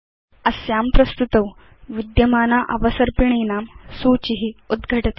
अस्यां प्रस्तुतौ विद्यमाना अवसर्पिणीनां सूचि उद्घटति